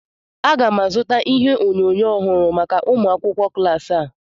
Aga m azụta ihe onyonyo ọhụrụ maka ụmụ akwụkwọ klas a